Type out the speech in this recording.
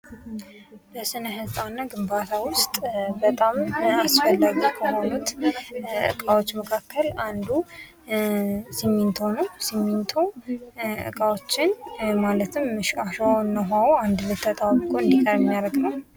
ስነ-ሕንፃና ግንባታ ዉስጥ አስፈላጊ ከሆኑት ዉስጥ እቃዎች መካከል አንዱ ሲሚንቶ ነዉ። ሲሚንቶ እቃዎችን ማለትም አሸዋ እና ዉኃዉ አንድ ላይ ተጣብቆ እንዲቀር ለማድረግ ነዉ።